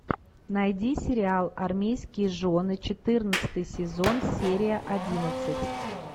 найди сериал армейские жены четырнадцатый сезон серия одиннадцать